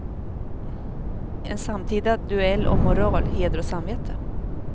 En samtida duell om moral, heder och samvete.